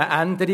der SiK.